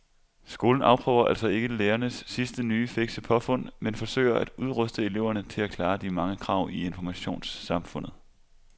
Skolen afprøver altså ikke lærernes sidste nye fikse påfund men forsøger at udruste eleverne til at klare de mange krav i informationssamfundet.